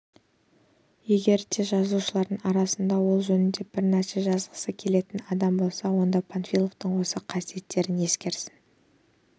егер де жазушылардың арасынан ол жөнінде бір нәрсе жазғысы келетін адам болса онда панфиловтың осы қасиеттерін ескерсін